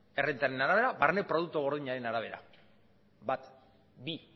errentaren arabera barne produktu gordinaren arabera bat bi